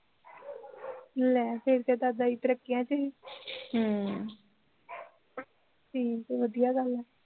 ਲੈ ਫਿਰ ਤੇ ਦਾਦਾ ਜੀ ਤਰੱਕੀਆਂ ਚ ਸੀ ਹਮ ਠੀਕ ਐ ਵਧੀਆ ਗੱਲ ਐ